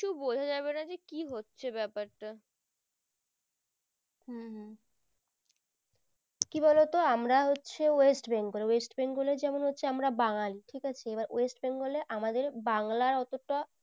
কিছু বোঝা যাবে না যে কি হচ্ছে ব্যাপারটা উম উম কি বলোতো আমরা হচ্ছে West BengalWest Bengal এর যেমন হচ্ছে যেমন হচ্ছে আমরা বাঙলি ঠিক আছে এবার West Bengal এ আমাদের বাংলার অতটা